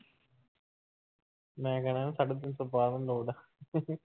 ਮੈਂ ਕਹਿਣਾ